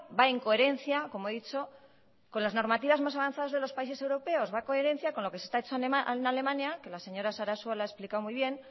va en coherencia como he dicho con las normativas más avanzadas de los países europeos va en coherencia con lo que se ha hecho en alemania que la señora sarasua lo ha explicado muy bien